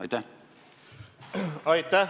Aitäh!